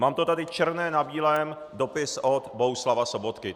Mám to tady černé na bílém, dopis od Bohuslava Sobotky.